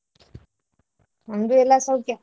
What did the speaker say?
ನಮ್ದು ಎಲ್ಲ ಸೌಖ್ಯ.